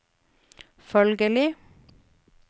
følgelig